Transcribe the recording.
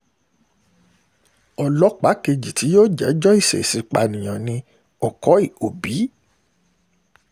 ọlọ́pàá kejì tí yóò jẹ́jọ́ ìṣeèṣì-pànìyàn ní ọkọ̀í òbí